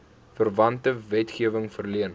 verwante wetgewing verleen